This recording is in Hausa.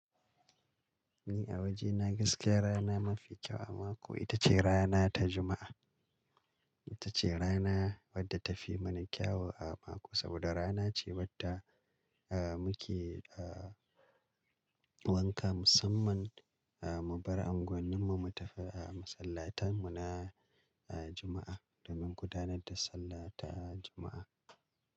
Ni a wajena gaskiya rana mafi kyau a mako ita ce rana ta Juma'a. Ita ce rana wadda ta fi mana kyau a mako saboda rana ce wadda, eh muke, eh wanka musamman, eh mu bar unguwanninmu mu tafi, eh masallatan mu na, eh Juma'a domin gudanar da sallah ta Juma'a.